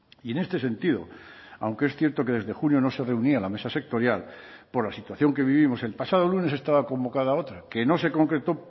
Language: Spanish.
y en este sentido aunque es cierto que desde junio no se reunía la mesa sectorial por la situación que vivimos el pasado lunes estaba convocada otra que no se concretó